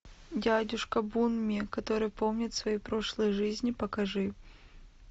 дядюшка бунми который помнит свои прошлые жизни покажи